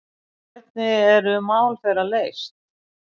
Hvernig eru mál þeirra leyst?